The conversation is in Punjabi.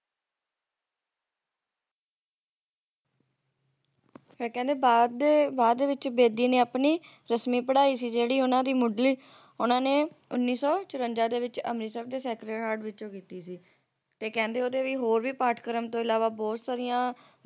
ਫੇਰ ਕਹਿੰਦੇ ਬਾਅਦ ਦੇ ਬਾਅਦ ਦੇ ਵਿੱਚ ਬੇਦੀ ਨੇ ਆਪਣੀ ਰਸਮੀ ਪੜਾਈ ਸੀ ਜਿਹੜੀ ਮੁੱਢਲੀ ਓਹਨਾ ਨੇ ਉੱਨੀ ਸੌ ਚੁਰੰਜਾ ਅੰਮ੍ਰਿਤਸਰ ਦੇ ਸੈਕਰਡ heart ਵਿੱਚੋ ਕੀਤੀ ਸੀ ਤੇ ਕਹਿੰਦੇ ਹੋਰ ਵੀ ਪਾਠਕ੍ਰਮ ਤੋਂ ਇਲਾਵਾ ਬਹੁਤ ਸਾਰੀਆਂ